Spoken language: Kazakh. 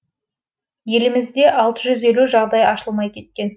елімізде алты жүз елу жағдай ашылмай кеткен